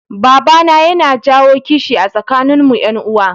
Babana yana jawo kishi a tsakanin mu yan uwa